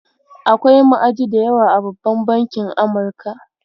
Akwai ma'aji da yawa a babban bankin Amurka.